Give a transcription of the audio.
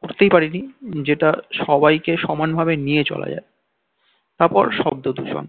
করতেই পারিনি যেটা সবাইকে সমান ভাবে নিয়ে চলা যায় তারপর শব্দ দূষণ